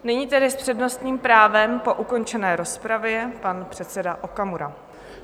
Nyní tedy s přednostním právem po ukončené rozpravě pan předseda Okamura.